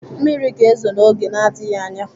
Mmiri ga-ezo n'oge na-adịghị anya.